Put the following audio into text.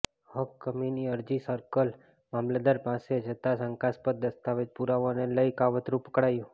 હક્ક કમીની અરજી સર્કલ મામલતદાર પાસે જતાં શંકાસ્પદ દસ્તાવેજી પુરાવાને લઇ કાવતરું પકડાયું